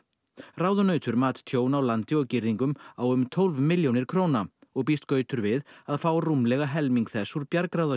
ráðunautur mat tjón á landi og girðingum á um tólf milljónir og býst gautur við að fá rúmlega helming þess úr